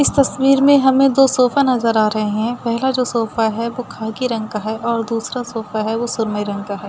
इस तस्वीर में हमें दो सोफा नज़र आ रहे हैं। पहला जो सोफा है वो खाकी रंग का है और दूसरा जो सोफा है वो सुरमई रंग का है।